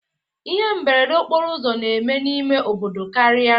Ihe mberede okporo ụzọ na-eme n'ime obodo karịa